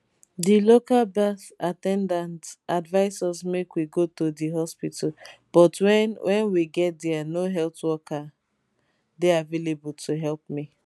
di local birth at ten dant advise us make we go to di hospital but wen wen we get dia no healthcare worker dey available to help me